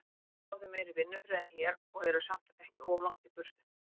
Þar fáið þið meiri vinnufrið en hér, og eruð samt ekki of langt í burtu.